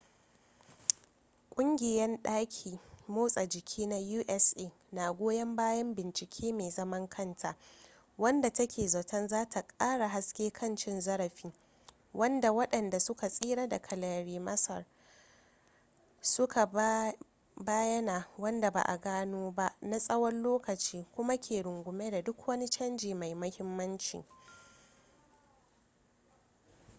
kungiyan daki motsa jiki na usa na goyon bayan bincike mai zaman kanta wadda take zaton zata kara haske kan cin zarafi wadda wadanda suka tsira daga larry nassar suka bayana wadda ba a gano ba na tsawon lokaci kuma ke rungume da duk wani canji mai muhimmanci